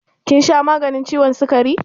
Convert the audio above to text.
Kin sha maganin ciwon sukari?